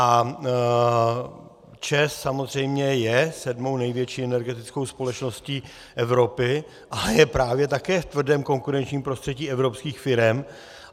A ČEZ samozřejmě je sedmou největší energetickou společností Evropy, ale je právě také v tvrdém konkurenčním prostředí evropských firem.